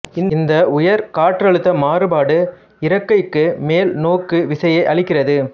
இந்த உயர் காற்றழுத்த மாறுபாடு இறக்கைக்கு மேல் நோக்கு விசையை அளிக்கிறது